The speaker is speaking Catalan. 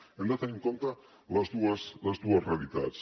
hem de tenir en compte les dues les dues realitats